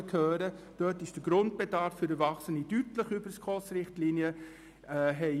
Waadt befindet sich der Grundbedarf für Erwachsene deutlich über den SKOSRichtlinien.